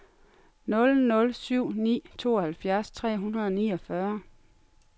nul nul syv ni tooghalvfjerds tre hundrede og niogfyrre